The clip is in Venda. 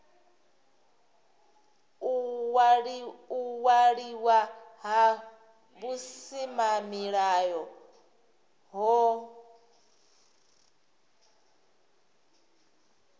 u waliwa ha vhusimamilayo hohe